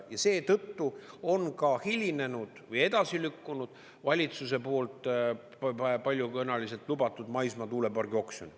Ja seetõttu on ka hilinenud või edasi lükkunud valitsuse poolt juba paljusõnaliselt lubatud maismaatuulepargi oksjon.